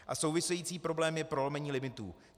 A související problém je prolomení limitu.